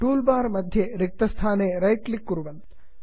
tool bar मध्ये रिक्तस्थाने right click कुर्वन्तु